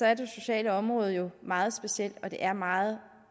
er det sociale område jo meget specielt og det er meget